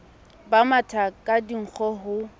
ba matha ka dinkgo ho